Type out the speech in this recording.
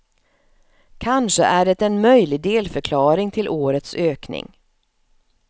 Kanske är det en möjlig delförklaring till årets ökning.